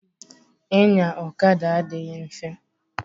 Inya ọkada adịghị mfe.